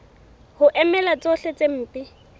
ho emela tsohle tse mpe